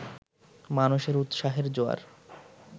মানুষের উৎসাহের জোয়ার